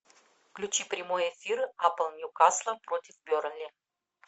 включи прямой эфир апл ньюкасл против бернли